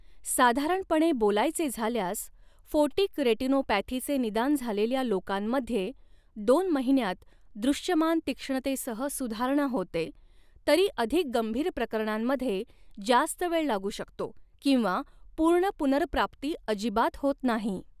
साधारणपणे बोलायचे झाल्यास, फोटिक रेटिनोपॅथीचे निदान झालेल्या लोकांमध्ये दोन महिन्यांत दृश्यमान तीक्ष्णतेसह सुधारणा होते, तरी अधिक गंभीर प्रकरणांमध्ये जास्त वेळ लागू शकतो, किंवा पूर्ण पुनर्प्राप्ती अजिबात होत नाही.